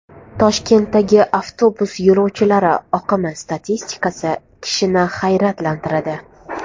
Toshkentdagi avtobus yo‘lovchilari oqimi statistikasi kishini hayratlantiradi.